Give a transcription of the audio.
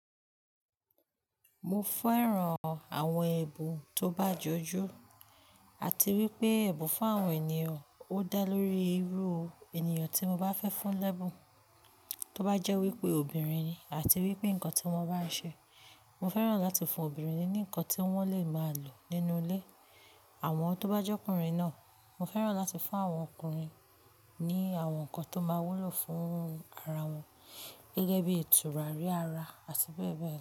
Mo fẹ́ran àwọn ẹ̀bùn tó bá jọjú àti wípé ẹ̀bùn fún àwọn ènìyàn ó dá lórí irú ènìyàn tí mo bá fẹ́ fún lẹ́bùn, tó bá jẹ́ wípé obìnrin ni àti wípé nǹkan tí wón bá ń ṣe. Mo fẹ́ràn láti fún obìnrin ní nǹkan tí wọ́n lè máa lò nínú ilé. Àmọ́ tó bá jọ́kùnrin náà, mo fẹ́ràn láti fún àwọn ọkùnrin ní àwọn nǹkan tó máa wúlò fún ara wọn gẹ́gẹ́ bí tùràrí ara àti bẹ́ẹ̀ bẹ́ẹ̀ lọ.